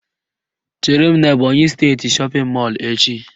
Chere m n'Ebọnyị steeti shọpịn mọlụ echi